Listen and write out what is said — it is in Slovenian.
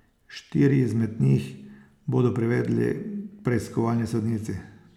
Štiri izmed njih bodo privedli k preiskovalni sodnici.